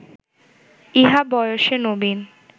ইহা বয়সে নবীন